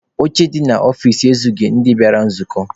Oche dị n'ọfici ezughị ndị bịara nzukọ.